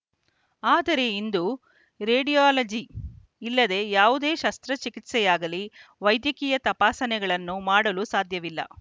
ಆದರೆ ಇಂದು ರೇಡಿಯಾಲಜಿ ಇಲ್ಲದೇ ಯಾವುದೇ ಶಸ್ತ್ರಚಿಕಿತ್ಸೆಯಾಗಲಿ ವೈದ್ಯಕೀಯ ತಪಾಸಣೆಗಳನ್ನು ಮಾಡಲು ಸಾಧ್ಯವಿಲ್ಲ